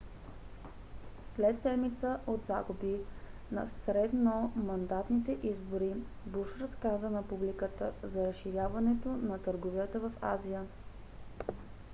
след седмица от загуби на средномандатните избори буш разказа на публиката за разширяването на търговията в азия